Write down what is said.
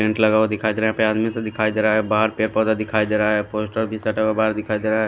Tent लगा हुआ दिखाई दे रहा है यहां पे आदमी सब दिखाई दे रहा है बाहर पेड़ पौधा दिखाई दे रहा है पोस्टर भी सटा हुआ बाहर दिखाई दे रहा है।